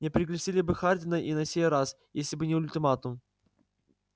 не пригласили бы хардина и на сей раз если бы не ультиматум